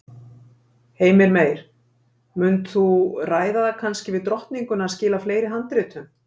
Heimir Meir: Munt þú ræða það kannski við drottninguna að skila fleiri handritum?